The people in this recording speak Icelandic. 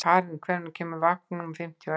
Karín, hvenær kemur vagn númer fimmtíu og eitt?